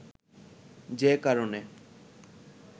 যে কারণে